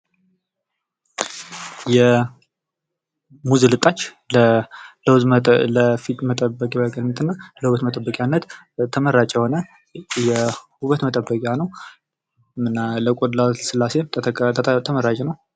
ሙዝ ልታጭ የፊት መጠበቂነትና የውበት መጠበቂነት ተመራጭ የሆነ የውበት መጠበቂያ ነው። እና ለቆዳ ልስላሴ ተመራጭ ነው።